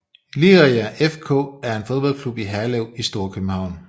Liria FK er en fodboldklub i Herlev i Storkøbenhavn